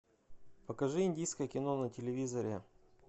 покажи индийское кино на телевизоре